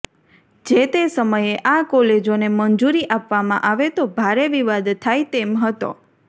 જે તે સમયે આ કોલેજોને મંજૂરી આપવામાં આવે તો ભારે વિવાદ થાય તેમ હતો